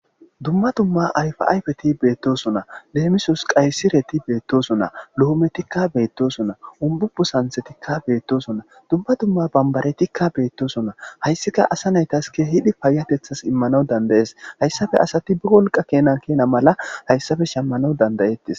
Dumma dumma alfa'ayfeti beettoson na leemisos qaysireti beettosonna lohometikka beettosonna umbubu santhetikka beettoso na dumma dumma bambaretikka beettosonna hayssika asa naytas ke hidi paayatethas immanaw dandayees hayssafe asati bi wolqa keenan kena mala hayssafe shemmana dandayettis.